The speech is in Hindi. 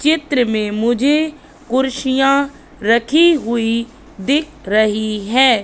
चित्र में मुझे कुर्सियाँ रखी हुई दिख रही है।